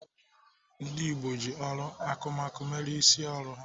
Ndị gboo ji ọrụ akụmakụ mere isi ọrụ ha.